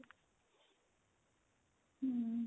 hm